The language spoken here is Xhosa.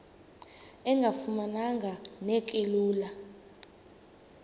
engafuma neki lula